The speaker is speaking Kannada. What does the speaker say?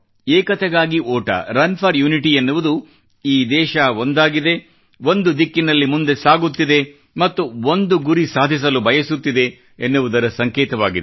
ಏಕತೆಗಾಗಿ ಓಟ ರನ್ ಫೋರ್ ಯುನಿಟಿ ಎನ್ನುವುದು ಈ ದೇಶ ಒಂದಾಗಿದೆ ಒಂದು ದಿಕ್ಕಿನಲ್ಲಿ ಮುಂದೆ ಸಾಗುತ್ತಿದೆ ಮತ್ತು ಒಂದು ಗುರಿ ಸಾಧಿಸಲು ಬಯಸುತ್ತಿದೆ ಎನ್ನುವುದರ ಸಂಕೇತವಾಗಿದೆ